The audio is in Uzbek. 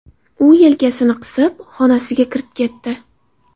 U yelkasini qisib, xonasiga kirib ketdi.